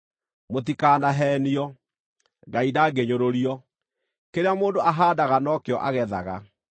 Mũtikanaheenio: Ngai ndangĩnyũrũrio. Kĩrĩa mũndũ ahaandaga no kĩo agethaga.